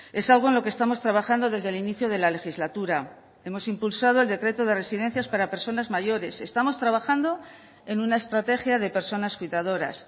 es algo en lo que estamos trabajando desde el inicio de la legislatura hemos impulsado el decreto de residencias para personas mayores estamos trabajando en una estrategia de personas cuidadoras